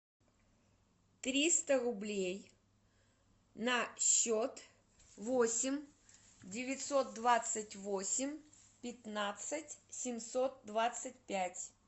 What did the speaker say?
триста рублей на счет восемь девятьсот двадцать восемь пятнадцать семьсот двадцать пять